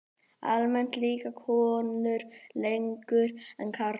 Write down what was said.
Almennt lifa konur lengur en karlar.